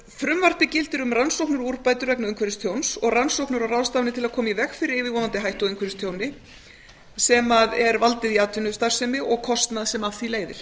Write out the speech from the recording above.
frumvarpið gildir um rannsóknir og úrbætur vegna umhverfistjóns og rannsóknir og ráðstafanir til að koma í veg fyrir yfirvofandi hættu á umhverfistjóni sem er valdið í atvinnustarfsemi og kostnað sem af því leiðir